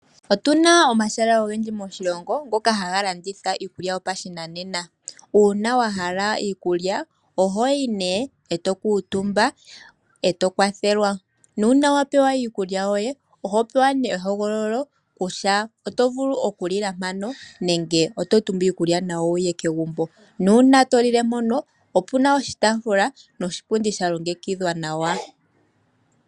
Otuna omahala ogendji moshilongo ngoka haga landitha iikukya yopashinanena. Uuna wahala iikulya oho yi nee eto kuutumba eto kwathelwa, nuuna wapewa iikulya yoye oho pewa nee ehogololo kutya oto vulu okulila mpano nenge oto tumbu iikulya wuye nayo kegumbo. Nuuna to lile mpono opuna oshi taafula niipundi yalongekidhwa nawa.